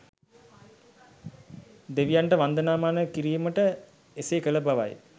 දෙවියන්ට වන්දනාමාන කිරීමට එසේ කළ බවයි.